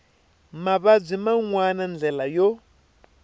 mavabyi man wana ndlela yo